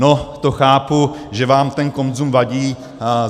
No, to chápu, že vám ten konzum vadí.